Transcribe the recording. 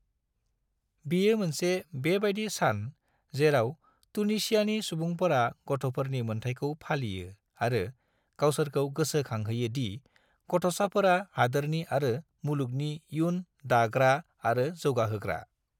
बेयो मोनसे बेबादि सान जेराव तुनिसियानि सुबुंफोरा गथ'फोरनि मोन्थाइखौ फालियो आरो गावसोरखौ गोसो खांहोयो दि गथ'साफोरा हादोरनि आरो मुलुगनि इयुन दाग्रा आरो जौगाहोग्रा।